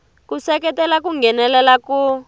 ku seketela ku nghenelela ku